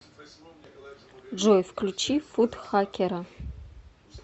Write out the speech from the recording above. джой включи футхакера